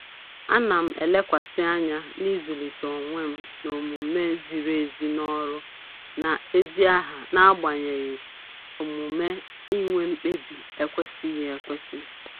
Ana m elekwasị anya na-ịzụlite onwe m n'omume ziri ezi n'ọrụ na ezi aha n'agbanyeghị omume inwe mkpebi ekwesịghị ekwesị